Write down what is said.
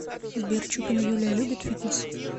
сбер чупина юлия любит фитнес